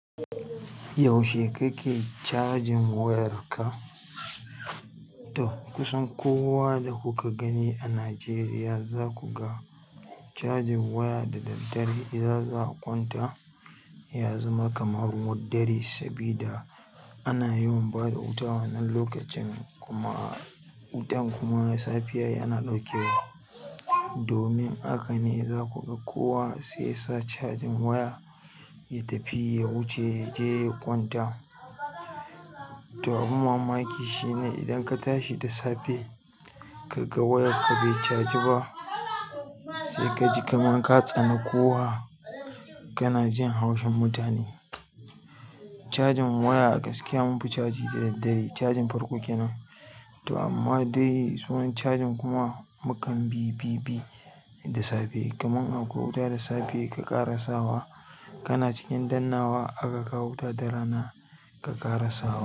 Yaushe kake cajin wayarka? To kusan kowa da kuka gani a Najeriya za ku ga cajin waya da daddare. Idan za a kwanta ya zama kamar ruwan dare saboda ana yawan bada wuta wannan lokacin kuma wutan kuma safiya yana ɗauke wa. Domin haka ne za ku ga kowa sai yasa cajin waya ya tafi ya wuce ya je ya kwanta. To abun mamaki shine idan ka tashi da safe ka ga wayarka bai caji ba sai ka ji kamar ka tsani kowa. Kana jin haushin mutane. Cajin waya a gaskiya mun fi caji da daddare. Cajin farko kenan. To amma dai sauran cajin kuma mukan bi bi bi da safe. Kaman an kawo wuta da safe ka ƙara sawa kana cikin dannawa aka kawo wuta da rana ka ƙara sawa.